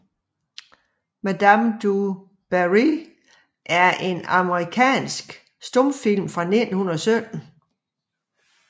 Madame Du Barry er en amerikansk stumfilm fra 1917 af J